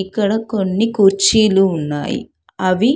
ఇక్కడ కొన్ని కుర్చీలు ఉన్నాయి. అవి